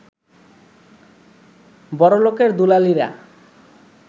বড়লোকের দুলালিরা